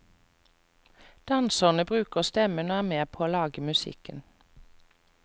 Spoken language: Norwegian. Danserne bruker stemmen og er med på å lage musikken.